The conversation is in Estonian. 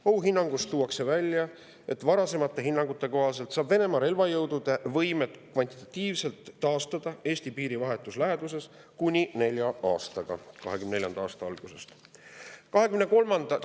Ohuhinnangus tuuakse välja, et varasemate hinnangute kohaselt saab Venemaa oma Eesti piiri vahetus läheduses relvajõudude võime kvantitatiivselt taastada kuni nelja aastaga, 2024. aasta algusest.